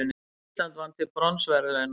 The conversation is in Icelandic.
Ísland vann til bronsverðlauna